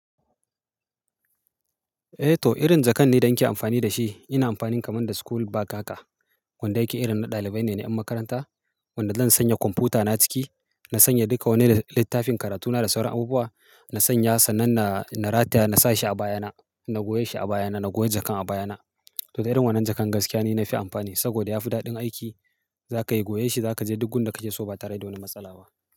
Eh to irin jakan dai da in ke amfani da shi. Ina amfani kamar da school bag kaka. Wanda yake irin na ɗalibai ne, na ƴan makaranta. Wanda zan sanya kwamfuta na ciki, na sanya duka wanni da littafin karatu na da sauran abubuwa. Na sanya sannan na, na rataya na sa shi a baya na, na goya shi a baya na, na goya jakan a baya na. To irin wannan jakan gaskiya ne na fi amfani saboda ya fi daɗin aiki. Za ka yi goya shi, za ka je duk gunda kake so ba tare da wani matsala ba.